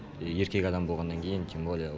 еркек адам болғаннан кейін тем более